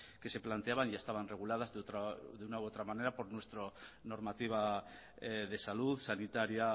que se planteaban ya estaban reguladas de una u otra manera por nuestra normativa de salud sanitaria